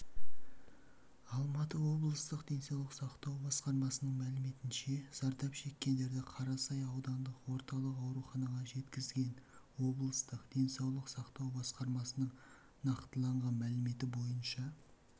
алматы облыстық денсаулық сақтау басқармасының мәліметінше зардап шеккендерді қарасай аудандық орталық ауруханаға жеткізген облыстық денсаулық сақтау басқармасының нақтыланған мәліметі бойынша